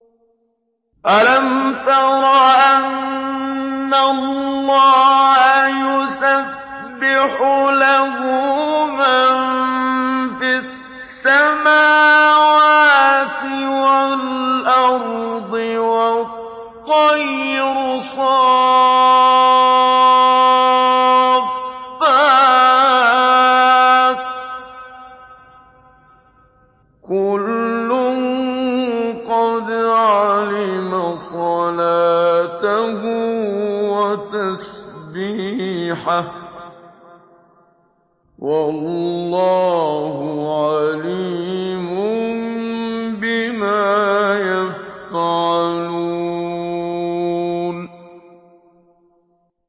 أَلَمْ تَرَ أَنَّ اللَّهَ يُسَبِّحُ لَهُ مَن فِي السَّمَاوَاتِ وَالْأَرْضِ وَالطَّيْرُ صَافَّاتٍ ۖ كُلٌّ قَدْ عَلِمَ صَلَاتَهُ وَتَسْبِيحَهُ ۗ وَاللَّهُ عَلِيمٌ بِمَا يَفْعَلُونَ